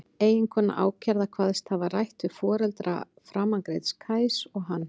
Eiginkona ákærða kvaðst hafa rætt við foreldra framangreinds Kajs og hann.